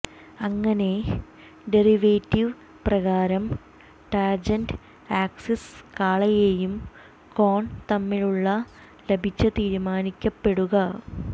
അങ്ങനെ ഡെറിവേറ്റീവ് പ്രകാരം tangent axis കാളയെയും കോൺ തമ്മിലുള്ള ലഭിച്ച തീരുമാനിക്കപ്പെടുക